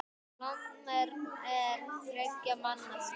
Lomber er þriggja manna spil.